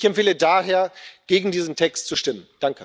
Ich empfehle daher, gegen diesen Text zu stimmen.